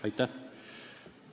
Aitäh!